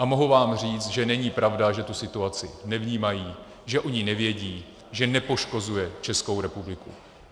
A mohu vám říct, že není pravda, že tu situaci nevnímají, že o ní nevědí, že nepoškozuje Českou republiku.